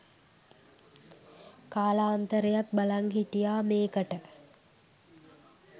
කාලාන්තරයක් බලන් හිටියා මේකට